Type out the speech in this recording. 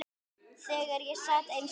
Þegar ég sat eins og